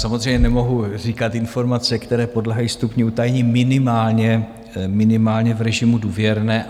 Samozřejmě nemohu říkat informace, které podléhají stupni utajení, minimálně v režimu důvěrné.